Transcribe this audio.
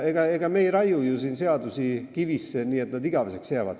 Ega me ei raiu siin ju seadusi kivisse, nii et need jäävad igaveseks.